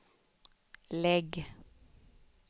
lägg